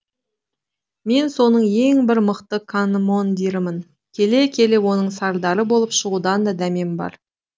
мен соның ең бір мықты командирымын келе келе оның сардары болып шығудан да дәмем бар